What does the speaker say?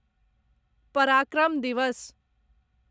पराक्रम दिवस